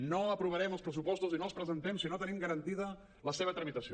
no aprovarem els pressupostos i no els presentem si no tenim garantida la seva tramitació